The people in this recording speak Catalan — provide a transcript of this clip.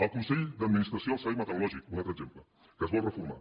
el consell d’administració del servei meteorològic un altre exemple que es vol reformar